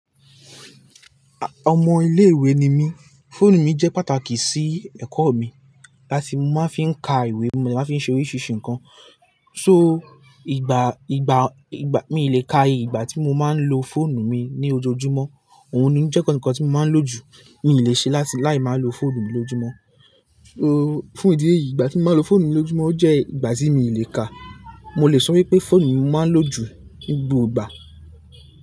Ọmọ ilé ìwé ni mí, fóònù mi jẹ́ pàtàkì sí ẹ̀kọ́ mi. Láti mo máa ń fi ka ìwé, mo máa ń fi ṣe oríṣiríṣi nǹkan. So, ìgbà, ìgbà, ìgbà mi ò lè ka ìgbà tí mo máa ń lo fóònù mi ní ojoojúmọ́. Òun ni jẹ́ kọ̀nkọ̀ tí mo máa ń lò jù. N ò le ṣe láti láì máa lo fóònù mi lójúmọ́. So, fún ìdí èyí ìgbà tí mo máa lo fóònù mi lójúmọ́ jẹ́ ìgbà tí mi ò le ka. Mo lè sọ wípé fóònù ni mo máa ń lò jù ní gbogbo ìgbà.